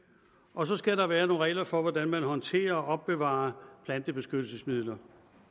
og så skal der være nogle regler for hvordan man håndterer og opbevarer plantebeskyttelsesmidler